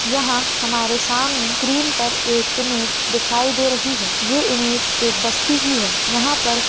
यहाँ हमारे सामने स्क्रीन पर एक इमेज दिखाई दे रही है ये इमेज एक बस्ती की है यहाँ पर--